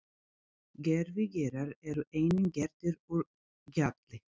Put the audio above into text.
Gervigígar eru einnig gerðir úr gjalli.